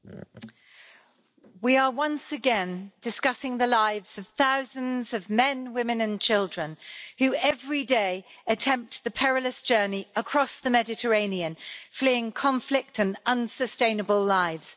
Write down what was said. Mr President, we are once again discussing the lives of thousands of men, women and children who every day attempt the perilous journey across the Mediterranean, fleeing conflict and unsustainable lives.